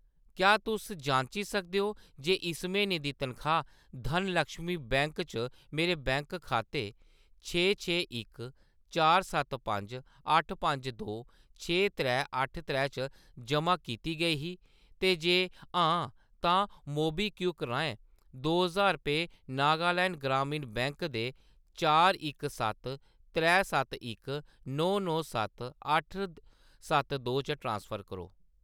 क्या तुस जांची सकदे ओ जे इस म्हीने दी तनखाह्‌‌ धनलक्ष्मी बैंक च मेरे बैंक खाते छे छे इक चार सत्त पंज दो छे त्रै अट्ठ त्रै च जमा कीती गेई ही, ते जे हां, तां मोबीक्विक राहें दो ज्हार रपेऽ नागालैंड ग्रामीण बैंक दे चार इक सत्त त्रै सत्त इक नौ नौ सत्त अट्ठ सत्त दो च ट्रांसफर करो ।